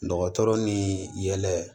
Dɔgɔtɔrɔ ni yɛlɛ